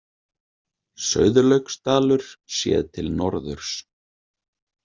Sauðlauksdalur séð til norðurs.